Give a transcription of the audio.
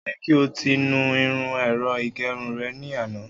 O yẹ ki o ti nu irun ẹ̀rọ ìgẹrun rẹ ni ana!